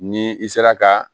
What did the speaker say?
Ni i sera ka